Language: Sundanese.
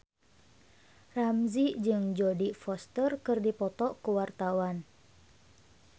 Ramzy jeung Jodie Foster keur dipoto ku wartawan